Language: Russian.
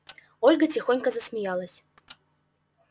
ольга тихонько засмеялась